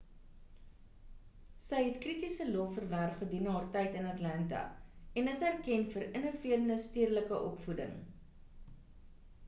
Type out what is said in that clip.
sy het kritiese lof verwerf gedurende haar tyd in atlanta en is erken vir innoverende stedelike opvoeding